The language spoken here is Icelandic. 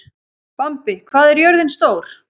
Bambi, hvað er jörðin stór?